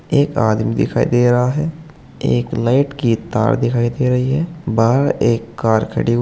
एक आदमी दिखाई दे रहा है एक लाइट की तार दिखाई दे रही है बाहर एक कार खड़ी हुई--